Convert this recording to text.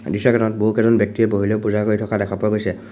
দৃশ্যখনত বহুকেইজন ব্যক্তিয়ে বহি লৈ পূজা কৰি থকা দেখা পোৱা গৈছে।